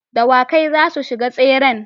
Dawakai zasu shiga tseren